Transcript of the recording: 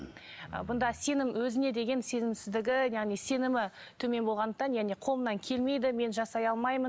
ы бұнда сенім өзіне деген сенімсіздігі яғни сенімі төмен болғандықтан яғни қолымнан келмейді мен жасай алмаймын